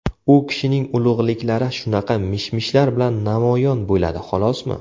U kishining ulug‘liklari shunaqa mish‑mishlar bilan namoyon bo‘ladi xolosmi?